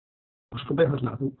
ósköp einfaldlega þú